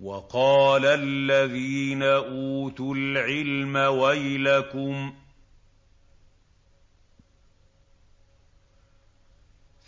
وَقَالَ الَّذِينَ أُوتُوا الْعِلْمَ وَيْلَكُمْ